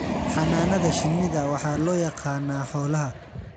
Xannaanada shinnida waxaa loo yaqaanaa xoolaha.